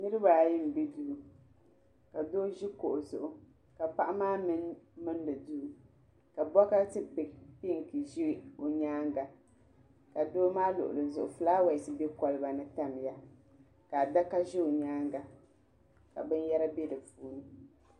Niriba ayi mbɛ duu ka doo zi kuɣu zuɣu ka paɣa maa mi milini duu ka bukati pɛnk za o yɛanga ka doo maa luɣili zuɣu flawasi bɛ koliba ni tamiya ka adaka zɛ o yɛanga ka bini yɛra bɛ di puuni.